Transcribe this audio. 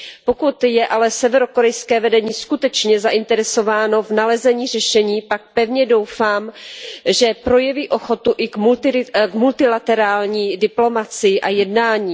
Pokud je ale severokorejské vedení skutečně zainteresováno v nalezení řešení, pak pevně doufám, že projeví ochotu i k multilaterální diplomacii a jednáním.